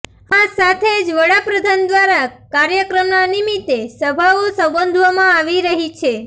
આ સાથે જ વડાપ્રધાન દ્વારા કાર્યક્રમના નિમિત્તે સભાઓ સંબોધવામાં આવી રહી છે